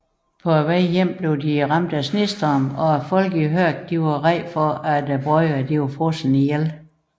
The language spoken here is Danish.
På vejen hjem blev de ramt af snestorm og folkene i Hørg var bange for at brødrene var frosset ihjel